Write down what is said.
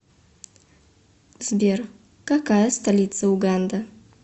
сбер какая столица уганда